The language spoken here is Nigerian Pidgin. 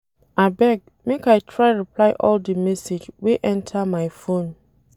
Abeg, make I try reply all di message wey enta my phone.